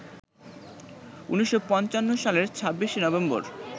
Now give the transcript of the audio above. ১৯৫৫ সালের ২৬শে নভেম্বর